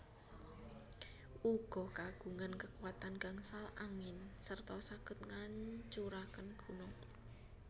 Uga kagungan kekuatan gangsal angin serta saged ngancuraken gunung